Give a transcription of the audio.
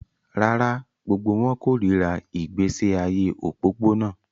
Rárá, gbogbo wọn kórìíra ìgbésí ayé òpópónà